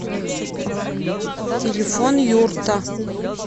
телефон юрта